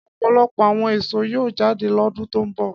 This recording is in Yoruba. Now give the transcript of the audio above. Ọ̀pọ̀lọpọ̀ àwọn èso yóò jáde lọ́dún tó ń bọ̀.